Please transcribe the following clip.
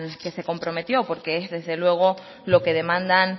que se comprometió porque es desde luego lo que demandan